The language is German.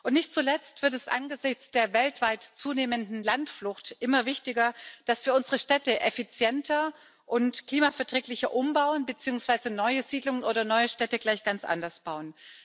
Und nicht zuletzt wird es angesichts der weltweit zunehmenden Landflucht immer wichtiger, dass wir unsere Städte effizienter und klimaverträglicher umbauen beziehungsweise neue Siedlungen oder neue Städte gleich ganz anders bauen.